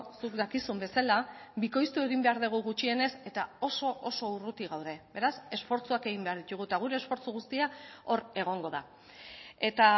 zuk dakizun bezala bikoiztu egin behar dugu gutxienez eta oso oso urruti gaude beraz esfortzuak egin behar ditugu eta gure esfortzu guztia hor egongo da eta